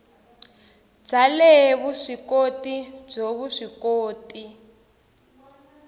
bya le vuswikoti byo vuswikoti